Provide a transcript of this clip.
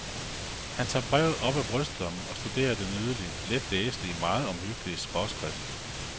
Han tager brevet op af brystlommen og studerer den nydelige, let læselige, meget omhyggelige skråskrift.